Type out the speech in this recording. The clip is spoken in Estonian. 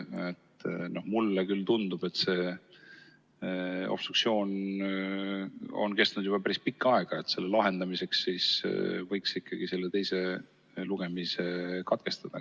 Ja teiseks, mulle küll tundub, et see obstruktsioon on kestnud juba päris pikka aega, nii et selle lahendamiseks võiks ikkagi teise lugemise katkestada.